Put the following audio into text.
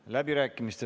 Kohtumiseni homme!